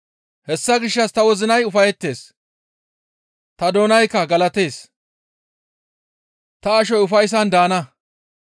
Hessa gishshas ta wozinay ufayettees; ta doonaykka galatees; ta ashoy ufayssan daana.